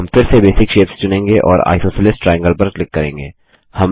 हम फिर से बेसिक शेप्स चुनेंगे और आइसोसेलेस ट्रायंगल पर क्लिक करेंगे